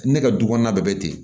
Ne ka du kɔnɔna bɛɛ bɛ ten